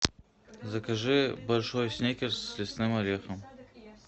закажи большой сникерс с лесным орехом